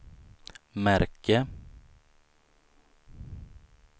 märke